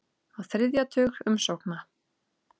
Á þriðja tug umsókna